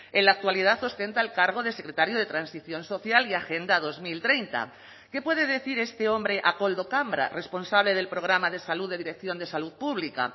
en la actualidad ostenta el cargo de secretario de transición social y agenda dos mil treinta qué puede decir este hombre a koldo cambra responsable del programa de salud de dirección de salud pública